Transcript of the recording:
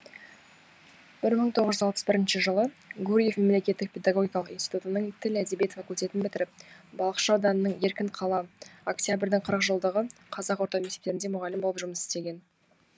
бір мың тоғыз жүз алпыс бірінші жылы гурьев мемлекеттік педагогикалық институтының тіл әдебиет факультетін бітіріп балықшы ауданының еркінқала октябрьдің қырық жылдығы қазақ орта мектептерінде мұғалім болып жұмыс істеген